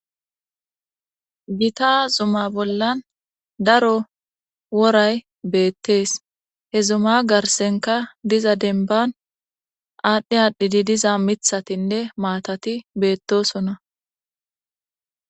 gita zuma bollan daro woray beettees he zuma garsenka diza denban aadhdhi aadhdhidi diza mithatinne maatati beettosona